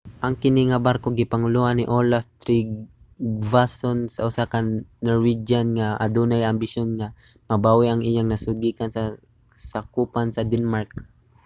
ang kini nga barko gipangulohan ni olaf trygvasson usa ka norwegian nga adunay mga ambisyon nga mabawi ang iyang nasud gikan sa kasakupan sa denmark